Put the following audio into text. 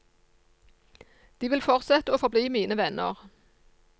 De vil fortsette å forbli mine venner.